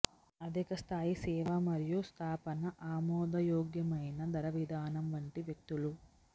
అధిక స్థాయి సేవ మరియు స్థాపన ఆమోదయోగ్యమైన ధర విధానం వంటి వ్యక్తులు